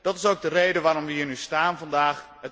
Dat is ook de reden waarom wij hier nu staan, vandaag.